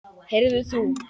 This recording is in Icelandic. Heyrðu þú!